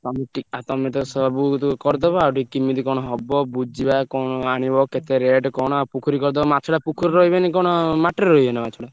ତମେ ଟି~ ଆଉ ତମେତ ସବୁ କରିଦବ ଆଉ ଟିକେ କିମିତି କଣ ହବ ବୁଝିବା କଣ ଆଣିବ କେତେ rate କଣ ଆଉ ପୋଖରୀ କରିଦବ ମାଛଟା ପୋଖରୀରେ ରହିବେନି କଣ ମାଟିରେ ରହିବେନା ମାଛଟା।